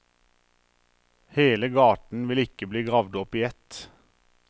Hele gaten vil ikke bli gravd opp i ett.